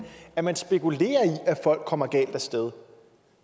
at man spekulerer i at folk kommer galt af sted